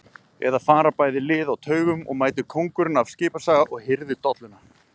Eða fara bæði lið á taugum og mætir kóngurinn af Skipaskaga og hirðir dolluna?